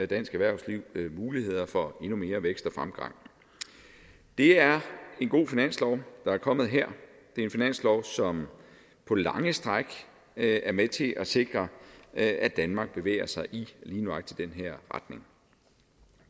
dansk erhvervslivs muligheder for endnu mere vækst og fremgang det er en god finanslov der er kommet her det er en finanslov som på lange stræk er med til at sikre at at danmark bevæger sig i lige nøjagtig den her retning